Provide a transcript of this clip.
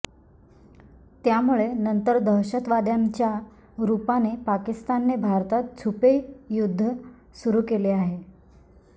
त्यामुळे नंतर दहशतवाद्यांच्या रुपाने पाकिस्तानने भारतात छुपे युद्ध सुरु केले आहे